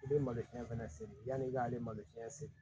I bɛ malosiɲɛ fɛnɛ seri yanni i ka ale malosɛnɛ